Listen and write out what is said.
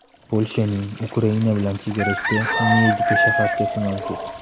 Polshaning Ukraina bilan chegarasida Medika shaharchasi mavjud.